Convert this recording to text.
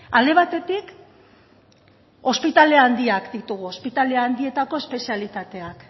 alde batetik ospitale handiak ditugu ospitale handietako espezialitateak